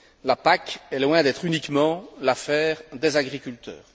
La PAC est loin d'être uniquement l'affaire des agriculteurs.